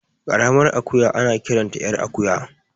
Ƙaramar akuya ana kiranta ƴar akuya